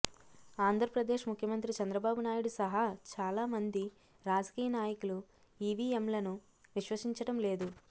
ఆంధ్రప్రదేశ్ ముఖ్యమంత్రి చంద్రబాబు నాయుడు సహా చాలామంది రాజకీయ నాయకులు ఈవీఎంలను విశ్వసించడం లేదు